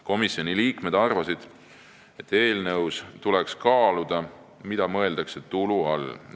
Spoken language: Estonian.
Komisjoni liikmed arvasid, et eelnõus tuleks kaaluda, mida mõeldakse tulu all.